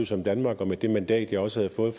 som danmark og med det mandat jeg også havde fået